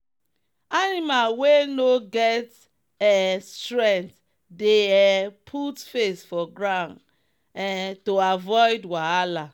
animal wey no get um strength dey um put face for ground um to avoid wahala.